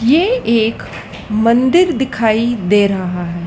ये एक मंदिर दिखाई दे रहा है।